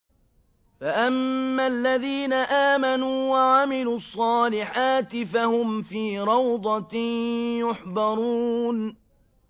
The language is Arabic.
فَأَمَّا الَّذِينَ آمَنُوا وَعَمِلُوا الصَّالِحَاتِ فَهُمْ فِي رَوْضَةٍ يُحْبَرُونَ